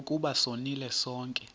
ukuba sonile sonke